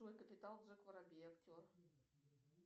джой капитал джек воробей актер